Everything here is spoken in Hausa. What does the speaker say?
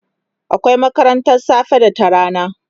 akwai makarantan safe da ta rana